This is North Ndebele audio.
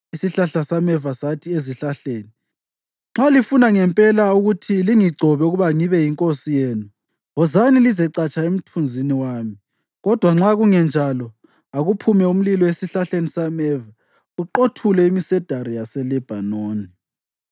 Isihlahla sameva sathi ezihlahleni, ‘Nxa lifuna ngempela ukuthi lingigcobe ukuba ngibe yinkosi yenu, wozani lizecatsha emthunzini wami, kodwa nxa kungenjalo, akuphume umlilo esihlahleni sameva uqothule imsedari yaseLebhanoni!’